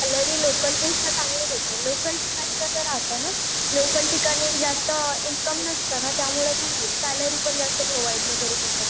salary local पेक्षा चांगली भेटेल लोकल ठिकाणी कस राहत ना लोकल ठिकाणी जास्त इंकम नसते न त्यामुळेती सैलरी पण जस्त प्रोवाइड नाही करू शकत